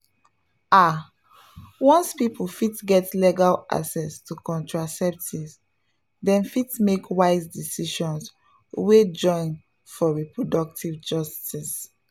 ah once people fit get legal access to contraceptives dem fit make wise decisions wey join for reproductive justice.